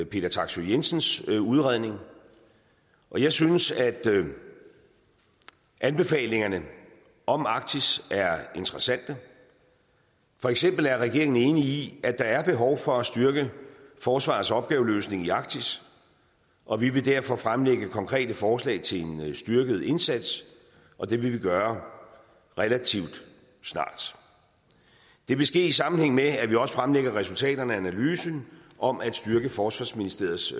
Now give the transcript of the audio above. peter taksøe jensens udredning og jeg synes at anbefalingerne om arktis er interessante for eksempel er regeringen enig i at der er behov for at styrke forsvarets opgaveløsning i arktis og vi vil derfor fremlægge konkrete forslag til en styrket indsats og det vil vi gøre relativt snart det vil ske i sammenhæng med at vi også fremlægger resultaterne af analysen om at styrke forsvarsministeriets